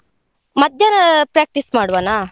ಮಧ್ಯಾಹ್ನ practice ಮಾಡುವನ?